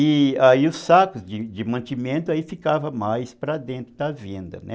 E aí os sacos de de mantimento, aí ficavam mais para dentro da venda, né?